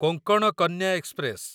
Konkan Kanya express